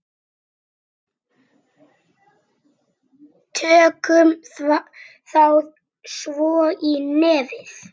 Tökum þá svo í nefið!